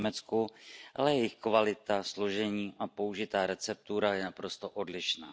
v Německu, ale jejich kvalita, složení a použitá receptura je naprosto odlišná.